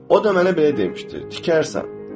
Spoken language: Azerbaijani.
O da mənə belə demişdi: tikərsən.